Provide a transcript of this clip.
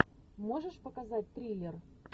можешь показать триллер